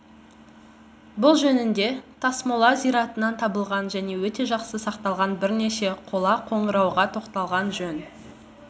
бұл жөнінде тасмола зиратынан табылған және өте жақсы сақталған бірнеше қола қоңырауға тоқталған жөн